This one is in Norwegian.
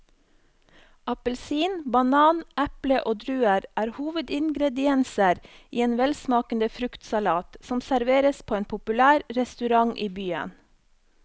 Appelsin, banan, eple og druer er hovedingredienser i en velsmakende fruktsalat som serveres på en populær restaurant i byen.